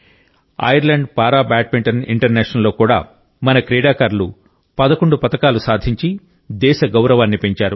Ireland para badminton ఇంటర్నేషనల్లో కూడా మన క్రీడాకారులు 11 పతకాలు సాధించి దేశ గౌరవాన్ని పెంచారు